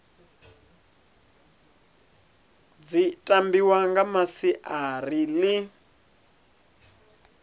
dzi tambiwa nga masiari ḽi